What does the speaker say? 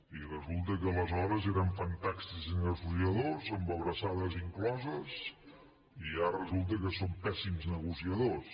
i resulta que aleshores érem fantàstics negociadors amb abraçades incloses i ara resulta que som pèssims negociadors